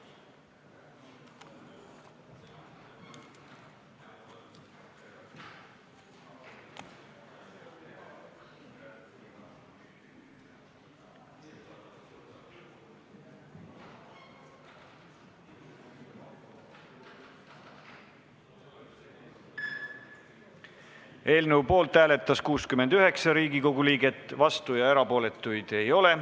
Hääletustulemused Eelnõu poolt hääletas 69 Riigikogu liiget, vastuolijaid ja erapooletuid ei ole.